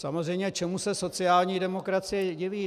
Samozřejmě čemu se sociální demokracie diví?